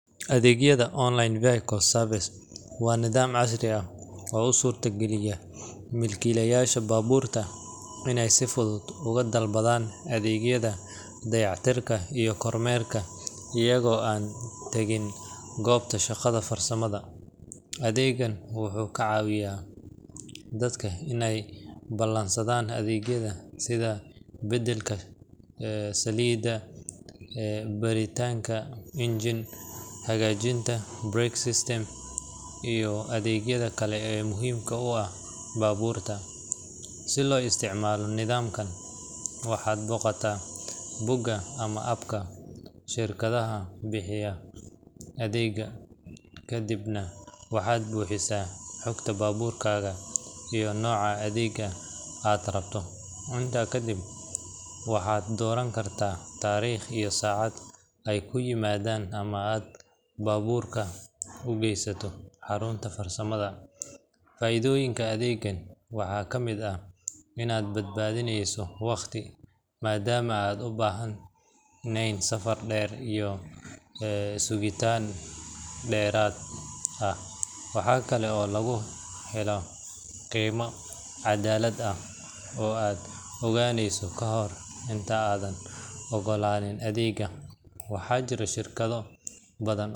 Adeegyada online vehicle service waa nidaam casri ah oo u suurta geliya milkiilayaasha baabuurta inay si fudud ugu dalbadaan adeegyada dayactirka iyo kormeerka iyagoo aan tagin goobta shaqada farsamada. Adeeggan wuxuu ka caawiyaa dadka inay ballansadaan adeegyada sida beddelka saliidda, baaritaanka engine, hagaajinta brake system, iyo adeegyada kale ee muhiimka u ah baabuurta. Si loo isticmaalo nidaamkan, waxaad booqataa bogga ama app-ka shirkadda bixisa adeegga, kadibna waxaad buuxisaa xogta baabuurkaaga iyo nooca adeegga aad rabto. Intaa kadib, waxaad dooran kartaa taariikh iyo saacad ay kuu yimaadaan ama aad baabuurka u geysato xarunta farsamada. Faa’iidooyinka adeeggan waxaa kamid ah: inaad badbaadinayso waqti, maadaama aadan u baahnayn safar dheer iyo sugitaan dheraad ah. Waxa kale oo lagu helo qiime caddaalad ah oo aad ogaanayso kahor inta aadan oggolaan adeegga. Waxaa jira shirkado badan.